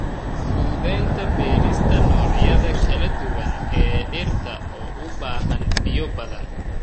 Fududeynta beerista noocyada kala duwan ee dhirta oo u baahan biyo badan.